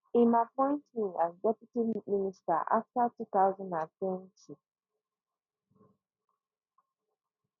im appoint me as deputy minister afta two thousand and twenty